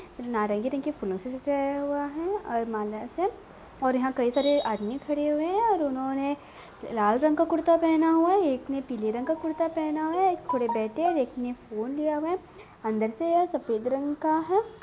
नारंगी रंग के फूल से सजाया हुआ है और मालाएं से और यहाँ कई सारे आदमी खड़े हुए हैं और उन्होंने लाल रंग का कुर्ता पहना हुआ है और एक ने पीले रंग का पहना हुआ है| एक ने फोन लिया हुआ है अंदर से सफेद रंग का है।